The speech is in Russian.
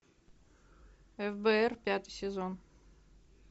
фбр пятый сезон